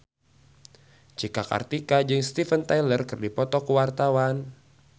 Cika Kartika jeung Steven Tyler keur dipoto ku wartawan